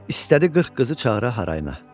İstədi qırx qızı çağıra harayına.